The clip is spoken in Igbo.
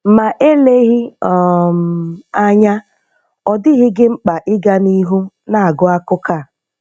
Ma eleghị um anya, ọ dịghị gị mkpa ịga n'ihu na-agụ akụkọ a.